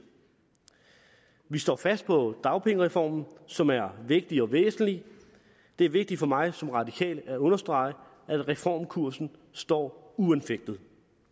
vi står fast på dagpengereformen som er vigtig og væsentlig det er vigtigt for mig som radikal at understrege at reformkursen står uanfægtet